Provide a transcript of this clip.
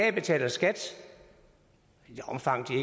at betale skat i det omfang de